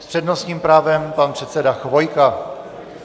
S přednostním právem pan předseda Chvojka.